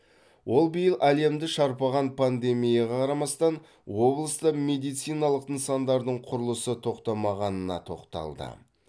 ол биыл әлемді шарпыған пандемияға қарамастан облыста медициналық нысандардың құрылысы тоқтамағанына тоқталды